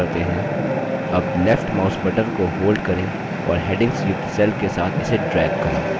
अब left mouse button को hold करें और headings युक्त cells के साथ इसे drag करें